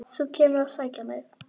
Þú kemur að sækja mig.